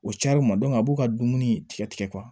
O cayara u ma a b'u ka dumuni tigɛ tigɛ